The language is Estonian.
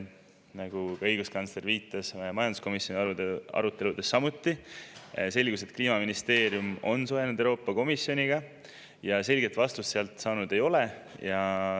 Nagu ka õiguskantsler viitas, selgus majanduskomisjoni aruteludes samuti, et Kliimaministeerium on suhelnud Euroopa Komisjoniga ja selget vastust sealt saanud ei ole.